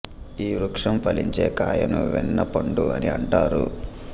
ఈ వృక్షం ఫలించే కాయను వెన్న పండు అని అంటారు